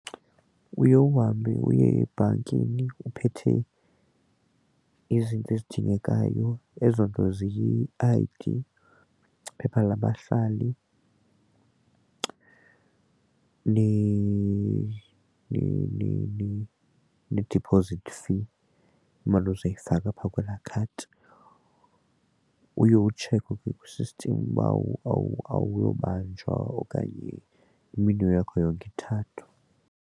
Uye uhambe uye ebhankini uphethe izinto ezidingekayo, ezo nto zii-I_D, iphepha labahlali ne-deposit slip, imali ozoyifaka apha kwela khadi. Uye utshekhwe ke kwisistimi uba uwulobanjwa okanye iminwe yakho yomithathu.